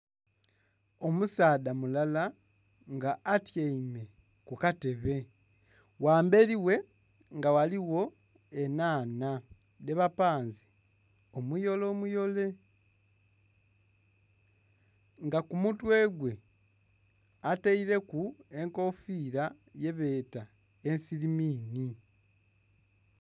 Omusaadha mulala nga atyaime kukatebe ghamberi ghe nga ghaligho enhanha dhebapanze omuyole omuyole nga kumutwe gwe ataireku enkofira yebeeta esirimini.